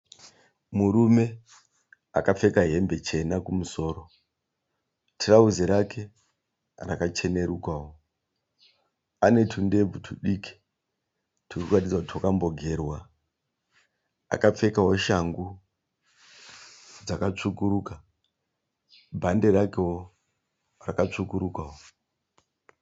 Murume akapfeka hembe chena kumusoro. Tirauzi rake rakachenerukawo. Ane tundebvu tudiki turi kuratidza kuti twakambogerwa. Akapfekawo shangu dzakatsvukuruka. Bhande rakewo rakatsvukurukawo.